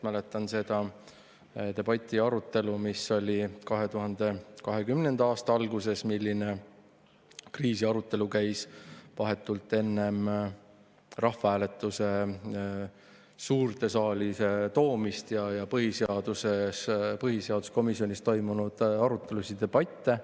Ma mäletan seda debatti ja arutelu, mis oli 2020. aasta alguses, milline kriisiarutelu käis vahetult enne rahvahääletuse suurde saali toomist, ja põhiseaduskomisjonis toimunud arutelusid ja debatte.